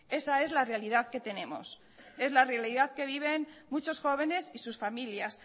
esa es la realidad que tenemos es la realidad que viven muchos jóvenes y sus familias